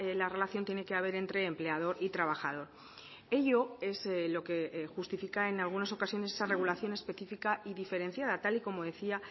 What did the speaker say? la relación tiene que haber entre empleador y trabajador ello es lo que justifica en algunas ocasiones esa regulación específica y diferenciada tal y como decía